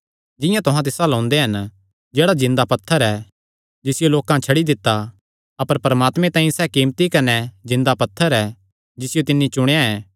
जिंआं तुहां तिस अल्ल ओंदे हन जेह्ड़ा जिन्दा पत्थर ऐ जिसियो लोकां तां छड्डी दित्ता अपर परमात्मे तांई सैह़ कीमती कने जिन्दा पत्थर ऐ जिसियो तिन्नी चुणेया ऐ